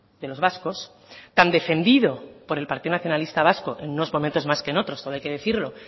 de los vascos tan defendido por el partido nacionalista vasco en unos momentos más que en otros todo hay que decirlo